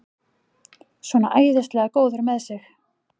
Svona æðislega góður með sig!